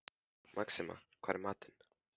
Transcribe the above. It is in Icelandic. Maxima, hvað er í matinn?